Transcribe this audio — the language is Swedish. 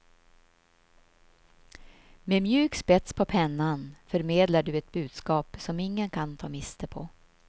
Med mjuk spets på pennan förmedlar du ett budskap som ingen kan ta miste på.